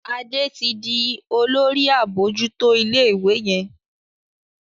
Ade tí dì Olórí abojuto ilé ìwé yén.